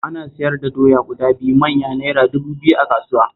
Ana siyar da doya guda biyu manya Naira dubu biyu a kasuwa